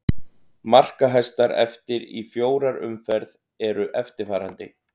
Markahæstar eftir í fjórar umferð eru eftirfarandi: